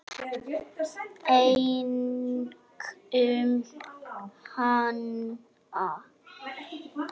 Einkum hana.